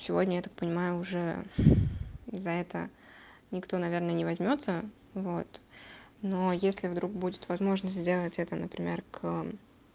сегодня я так понимаю уже за это никто наверное не возьмётся вот но если вдруг будет возможность сделать это например к